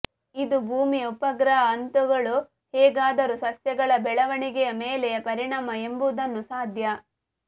ಇದು ಭೂಮಿಯ ಉಪಗ್ರಹ ಹಂತಗಳು ಹೇಗಾದರೂ ಸಸ್ಯಗಳ ಬೆಳವಣಿಗೆಯ ಮೇಲೆ ಪರಿಣಾಮ ಎಂಬುದನ್ನು ಸಾಧ್ಯ